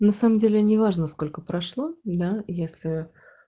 на самом деле не важно сколько прошло да если